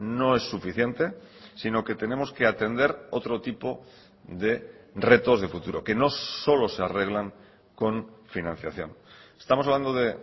no es suficiente sino que tenemos que atender otro tipo de retos de futuro que no solo se arreglan con financiación estamos hablando de